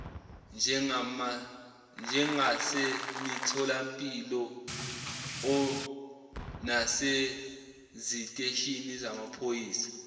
njengasemitholampilo naseziteshini zamaphoyisa